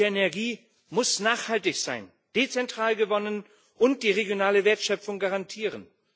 Gute Energie muss nachhaltig sein, dezentral gewonnen werden und die regionale Wertschöpfung garantieren.